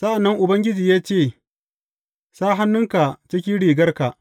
Sa’an nan Ubangiji ya ce, Sa hannunka cikin rigarka.